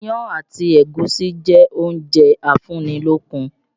Iyán àti ẹ̀gúsí jẹ́ oúnjẹ afúnni-lókun